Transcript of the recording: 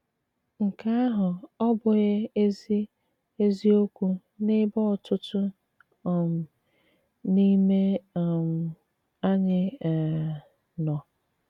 Nke àhụ̀ ọ́ bụ̀ghị̀ ezi ezi òkwù n'ebe ọ̀tùtù um n'ime um ànyị̀ um nọ?